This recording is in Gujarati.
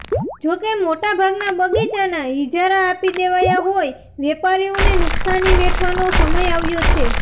જોકે મોટા ભાગનાં બગીચાનાં ઇજારા આપી દેવાયા હોઈ વેપારીઓને નુક્સાની વેઠવાનો સમય આવ્યો છે